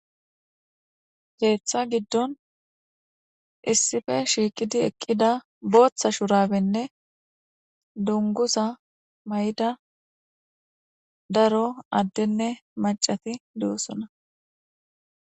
Keeththa giddon issipe shiiqidi eqqida booththa shuraabenne dunguza mayida daro addenne maccati de'osona.